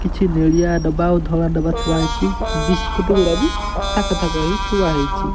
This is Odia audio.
କିଛି ନେଳିଆ ଡବା ଓ ଧଳା ଡବା ଥୁଆ ହେଇଚି ବିସ୍କୁଟ୍ ଗୁରା ବି ଥାକ ଥାକ ହେଇ ଥୁଆ ହେଇଚି।